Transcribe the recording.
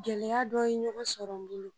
Gɛlɛya dɔ ye ɲɔgɔn sɔrɔ n bolo